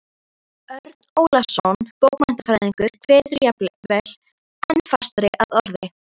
Örn Ólafsson bókmenntafræðingur kveður jafnvel enn fastar að orði